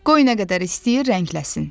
Qoy nə qədər istəyir rəngləsin.